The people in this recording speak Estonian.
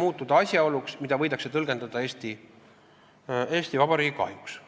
muutuda asjaoluks, mida võidakse tõlgendada Eesti Vabariigi kahjuks.